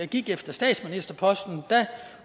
gik efter statsministerposten